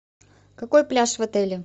какой пляж в отеле